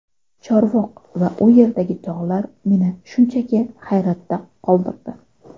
Chorvoq va u yerdagi tog‘lar meni shunchaki hayratda qoldirdi.